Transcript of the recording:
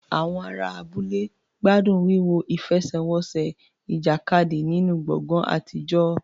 Àwọn ará abúlé gbádùn wíwo ìfẹsẹ̀wọnsẹ̀ ìjàkadì nínú gbọ̀ngàn àtijọ́.